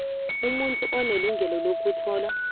umuntu unelungelo lokuthola